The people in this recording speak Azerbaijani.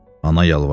Ana yalvardı.